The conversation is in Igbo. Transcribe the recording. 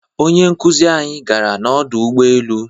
Onye nkuzi anyi gara n'ọdọ ụgbọelu